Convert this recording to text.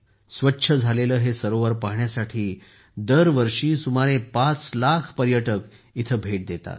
स्वच्छ झालेले हे सरोवर पाहण्यासाठी दरवर्षी सुमारे 5 लाख पर्यटक येथे भेट देतात